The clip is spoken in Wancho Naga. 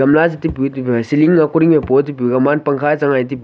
oola eh chi pu tia pa eh tey ceiling koring eh pa eh tey pu gamang pankha chang eh ti pui.